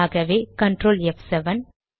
ஆகவே Ctrl ப்7